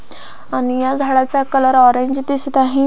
आणि ह्या झाडाचा कलर ऑरेंज दिसत आहे.